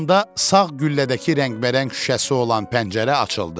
Bu anda sağ güllədəki rəngbərəng şüşəsi olan pəncərə açıldı.